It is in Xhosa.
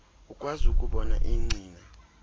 ukwazi ukubona iingcina